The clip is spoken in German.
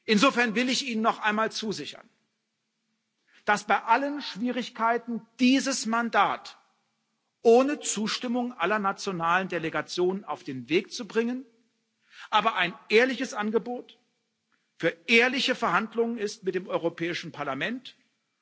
Insofern will ich Ihnen noch einmal zusichern, dass dieses Mandat bei allen Schwierigkeiten, es ohne Zustimmung aller nationalen Delegationen auf den Weg zu bringen, ein ehrliches Angebot für ehrliche Verhandlungen mit dem Europäischen Parlament ist.